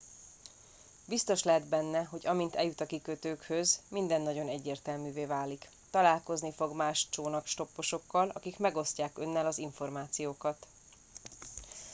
biztos lehet benne hogy amint eljut a kikötőkhöz minden nagyon egyértelművé válik találkozni fog más csónakstopposokkal akik megosztják önnel az információkat